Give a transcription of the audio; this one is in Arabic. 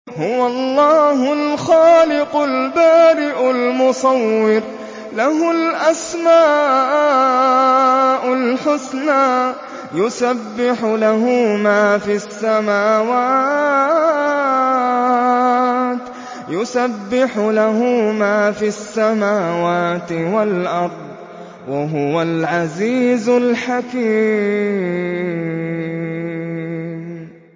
هُوَ اللَّهُ الْخَالِقُ الْبَارِئُ الْمُصَوِّرُ ۖ لَهُ الْأَسْمَاءُ الْحُسْنَىٰ ۚ يُسَبِّحُ لَهُ مَا فِي السَّمَاوَاتِ وَالْأَرْضِ ۖ وَهُوَ الْعَزِيزُ الْحَكِيمُ